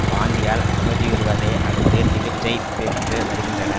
வாந்தியால் அவதியுறுவதை அடுத்து சிகிச்சை பெற்று வருகின்றன